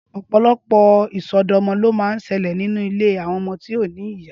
Ọpọlọpọ isọdọmọ ló mà n ṣẹlẹ ninú ilé awọn ọmọ ti ó ni ìyá